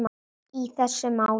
í þessu máli.